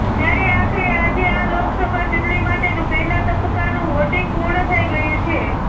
ત્યારે આખરે આજે આ લોકસભા ચૂંટણી માટેનું પહેલાં તબક્કાનું વોટિંગ પૂર્ણ થઇ ગયું છે